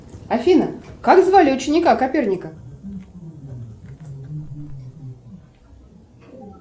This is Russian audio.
афина как звали ученика коперника